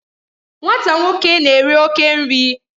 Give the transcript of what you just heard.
Nwata nwoke na-eri oke nri